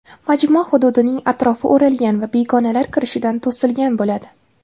Majmua hududining atrofi o‘ralgan va begonalar kirishidan to‘silgan bo‘ladi.